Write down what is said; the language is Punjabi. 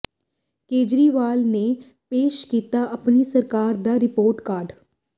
ਕੇਜਰੀਵਾਲ ਨੇ ਪੇਸ਼ ਕੀਤਾ ਆਪਣੀ ਸਰਕਾਰ ਦਾ ਰਿਪੋਰਟ ਕਾਰਡ